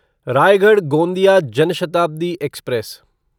Raigarh Gondia Jan Shatabdi express